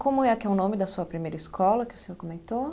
Como é que é o nome da sua primeira escola que o senhor comentou?